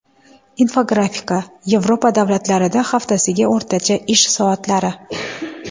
Infografika: Yevropa davlatlarida haftasiga o‘rtacha ish soatlari.